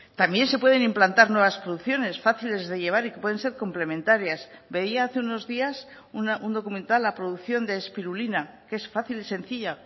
también se pueden implantar nuevas producciones fáciles de llevar y que pueden ser complementarias veía hace unos días un documental la producción de espirulina que es fácil y sencilla